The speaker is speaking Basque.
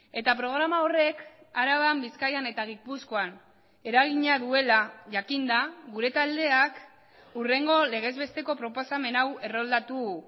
eta programa horrek araban bizkaian eta gipuzkoan eragina duela jakinda gure taldeak hurrengo legez besteko proposamen hau erroldatu